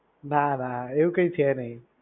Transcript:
ના ના એવું કાંઈ છે નહીં.